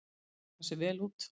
Þeir taka sig vel út.